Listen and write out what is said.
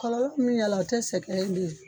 Kɔlɔlɔ min y'a la o tɛ sɛgɛ in de